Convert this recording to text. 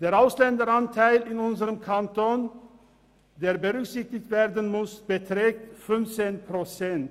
Der Ausländeranteil in unserem Kanton, der berücksichtigt werden muss, beträgt 15 Prozent.